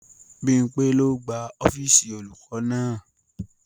Bímpé ló gbá ọ́fíìsì olùkọ́ náà